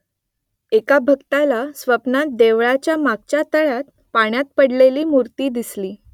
एका भक्ताला स्वप्नात देवळाच्या मागच्या तळ्यात पाण्यात पडलेली मूर्ती दिसली